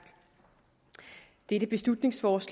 det venstres